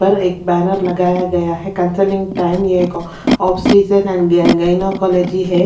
ऊपर एक बैनर लगाया गया है consulting time of scissor and gynaecology है।